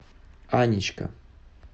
анечка